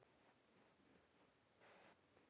Dag getur átt við